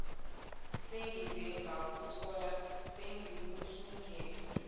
sengize ngakuthola sengikuthungathe